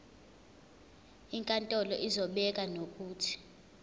inkantolo izobeka nokuthi